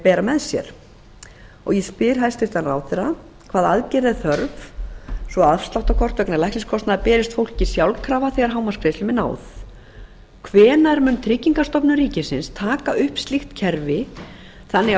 bera með sér ég spyr hæstvirtur ráðherra fyrstu hvaða aðgerða er þörf svo að afsláttarkort vegna lækniskostnaðar berist fólki sjálfkrafa þegar hámarksgreiðslum er náð öðru hvenær mun tryggingastofnun ríkisins taka upp slíkt kerfi þannig